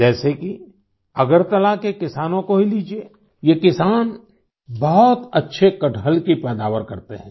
जैसे कि अगरतला के किसानों को ही लीजिए ये किसान बहुत अच्छे कटहल की पैदावार करते हैं